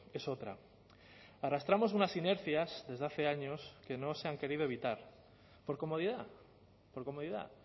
es otra arrastramos unas inercias desde hace años que no se han querido evitar por comodidad por comodidad